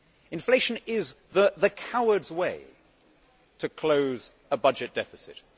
Inflation is the coward's way to close a budget deficit.